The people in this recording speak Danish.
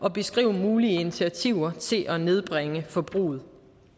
at beskrive mulige initiativer til at nedbringe forbruget